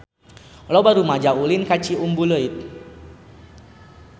Loba rumaja ulin ka Ciumbuleuit